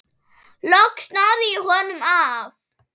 Loks náði ég honum af.